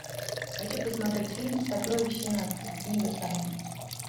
хочу посмотреть фильм сокровища нации книга тайн